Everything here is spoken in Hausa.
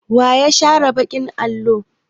Wa ya share baƙin allo?